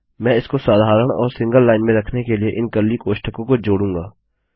मैं इसको साधारण और सिंगल लाइन में रखने के लिए इन कर्ली कोष्ठकों को जोड़ूँगा